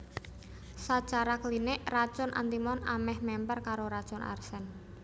Sacara klinik racun antimon amèh mèmper karo racun arsen